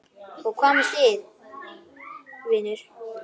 Og hvað með það, vinur?